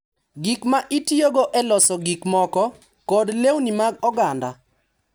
Gik ma itiyogo e loso gik moko, kod lewni mag oganda.